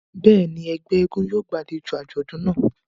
Bẹ́ẹ̀ni, ẹgbẹ èègún yóò gbàlejo àjọdun náa.